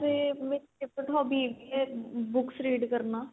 ਵੇਸੇ ਮੇਰੀ hobby ਹੈਗੀ ਏ books read ਕਰਨਾ